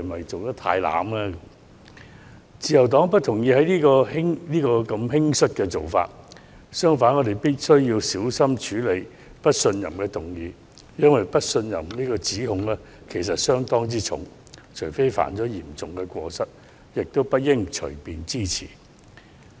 自由黨不認同這種輕率的做法，相反，我們認為必須小心處理不信任議案，因為不信任的指控相當嚴重，除非涉及嚴重過失，否則不應隨便支持有關議案。